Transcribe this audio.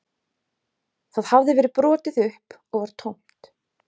Það hafði verið brotið upp og var tómt